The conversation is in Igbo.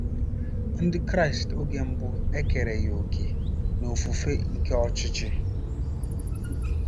Ndị Kraịst oge mbụ ekereghị òkè n'ofufe nke Ọchịchị.